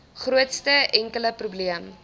grootste enkele probleem